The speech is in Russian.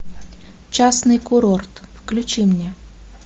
частный курорт включи мне